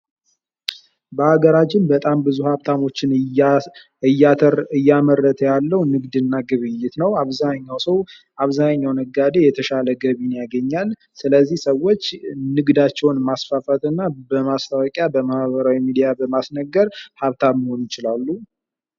በሀገራችን በጣም ብዙ ሀብታሞች እያመረተ ያለው ንግድና ግብይት ነው። አብዛኛው ሰው አብዛኛው ነጋዴ የተሻለ ገቢን ያገኛል። ስለዚህ ሰዎች ንግዳቸውን ማስፋፋት እና በማስታወቂያ በማህበራዊ ሚዲያ በማስነገር ሀብታም መሆን ይችላሉ።